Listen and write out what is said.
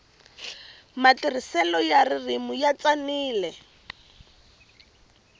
matirhiselo ya ririmi ya tsanile